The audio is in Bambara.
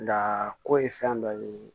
Nka ko ye fɛn dɔ ye